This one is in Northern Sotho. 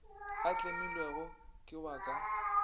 a tlemilwego ke wa ka